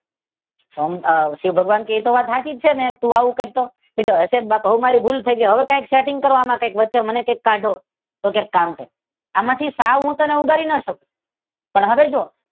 તો શિવ ભગવાન કે એ વાત તો સાચી જ છે ને તું આવું કર તો? હશે બાપ મારી ભૂલ થઇ ગઈ હવે કઈક સેટિંગ કરો વચ્ચે મને આમાંથી કાઢો. તો કે એક કામ કર આમાંથી સાવ હું ઉગારી ના શકું પણ હવે જો